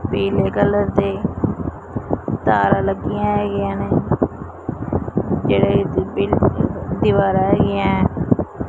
ਪੀਲੇ ਕਲਰ ਦੇ ਤਾਰਾ ਲੱਗੀਆਂ ਹੋਈਆਂ ਨੇ ਜਿਹਦੇ ਵਿੱਚ ਦੀਵਾਰਾਂ ਹੈਗੀਆਂ।